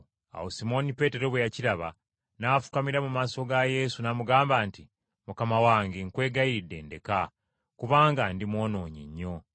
Awo Simooni Peetero bwe yakiraba, n’afukamira mu maaso ga Yesu n’amugamba nti, “Mukama wange, nkwegayiridde ndeka, kubanga ndi mwonoonyi nnyo.”